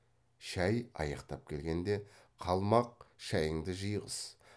шай аяқтап келгенде қалмақ шайыңды жиғыз